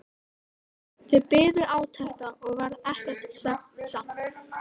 Þeir biðu átekta og varð ekki svefnsamt.